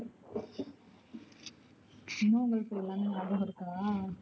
சின்ன வயசுல எல்லாமே நியாபகம் இருக்குதா?